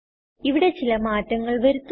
ഇവിടെ ചില മാറ്റങ്ങൾ വരുത്തുന്നു